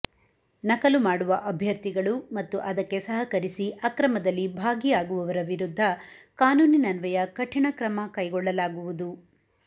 ನಕಲು ಮಾಡುವ ಅಭ್ಯರ್ಥಿಗಳು ಮತ್ತು ಅದಕ್ಕೆ ಸಹಕರಿಸಿ ಅಕ್ರಮದಲ್ಲಿ ಭಾಗಿಯಾಗುವವರ ವಿರುದ್ಧ ಕಾನೂನಿನ್ವಯ ಕಠಿಣ ಕ್ರಮ ಕೈಗೊಳ್ಳಲಾಗುವುದು